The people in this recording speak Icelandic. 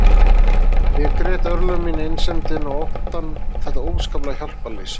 Ég grét örlög mín, einsemdina og óttann og þetta óskaplega hjálparleysi.